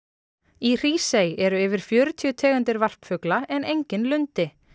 í Hrísey eru yfir fjörutíu tegundir varpfugla en enginn lundi